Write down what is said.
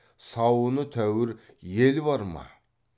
сауыны тәуір ел бар ма